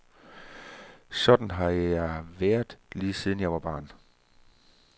Sådan har jeg været, lige siden jeg var barn.